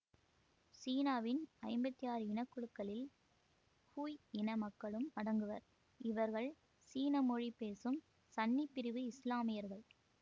சீனாவின் ஐம்பத்தி ஆறு இனக்குழுக்களில் ஹுய் இன மக்களும் அடங்குவர் இவர்கள் சீன மொழி பேசும் சன்னி பிரிவு இசுலாமியர்கள்